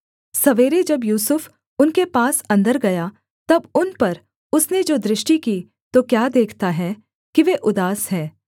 सवेरे जब यूसुफ उनके पास अन्दर गया तब उन पर उसने जो दृष्टि की तो क्या देखता है कि वे उदास हैं